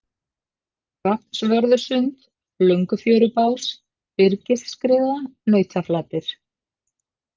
Hrafnsvörðusund, Löngufjörubás, Byrgisskriða, Nautaflatir